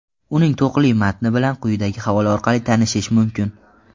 Uning to‘qli matni bilan quyidagi havola orqali tanishish mumkin.